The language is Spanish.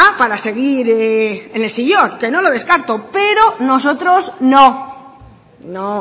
para seguir en el sillón que no lo descarto pero nosotros no no